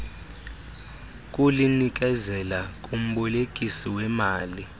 kulinikezela kumbolekisi weemali